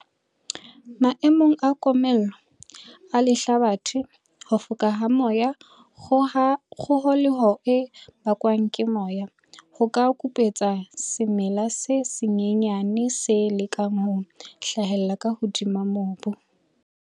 Maemong a komello, a lehlabathe, ho foka ha moya, kgoholeho e bakwang ke moya, ho ka kupetsa semela se senyane se lekang ho hlahella ka hodima mobu.